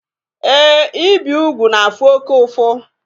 Éè, ibi úgwù na-afụ oke ụfụ